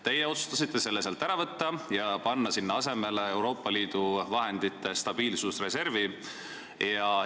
Teie otsustasite selle raha sealt ära võtta ja panna sinna asemele Euroopa Liidu stabiilsusreservi vahendid.